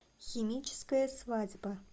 химическая свадьба